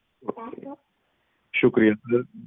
ਸ਼ੁਕਰੀਆ sir